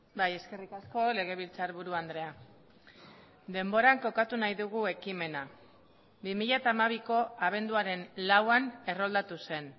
bai eskerrik asko legebiltzarburu andrea denboran kokatu nahi dugu ekimena bi mila hamabiko abenduaren lauan erroldatu zen